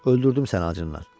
Öldürdüm səni acından.